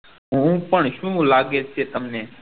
હું પણ શું લાગે છે તમને